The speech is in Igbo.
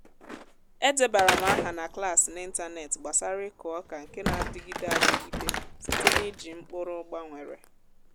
a debara m aha na klas n’ịntanetị gbasara ịkụ oka nke na-adịgide adịgide site n’iji mkpụrụ gbanwere.